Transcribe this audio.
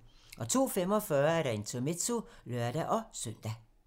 02:45: Intermezzo (lør-søn)